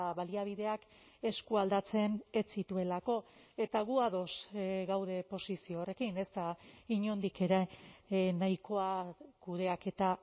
baliabideak eskualdatzen ez zituelako eta gu ados gaude posizio horrekin ez da inondik ere nahikoa kudeaketa